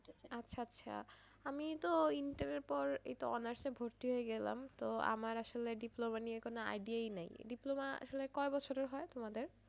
আচ্ছা আচ্ছা আমি তো intern এর পর এইতো honors এ ভর্তি হয়ে গেলাম তো আমার আসলে diploma নিয়ে কোনো idea ই নেই diploma আসলে কয় বছরের হয় তোমাদের?